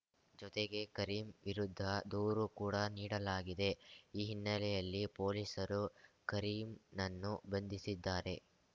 ಜೊತೆಗೆ ಕರೀಂ ವಿರುದ್ಧ ದೂರು ಕೂಡಾ ನೀಡಲಾಗಿದೆ ಈ ಹಿನ್ನೆಲೆಯಲ್ಲಿ ಪೊಲೀಸರು ಕರೀಂನನ್ನು ಬಂಧಿಸಿದ್ದಾರೆ